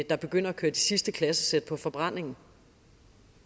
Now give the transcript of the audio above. er begyndt at køre de sidste klassesæt på forbrændingen